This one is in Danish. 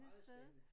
Meget spændende